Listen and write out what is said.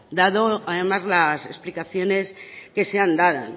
dado además las explicaciones que se han dado